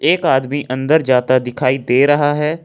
एक आदमी अन्दर जाता दिखाई दे रहा हैं।